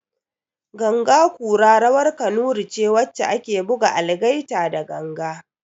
Ganga kura rawar kanuri ce wacce ake buga algaita da ganga